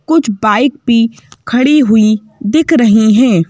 कुछ बाइक पी खड़ी हुई दिख रही है।